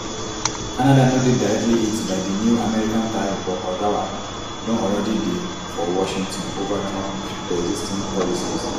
canada no dey directly hit by di new american tariffs but ottawa don already dey for washington ova trump preexisting policies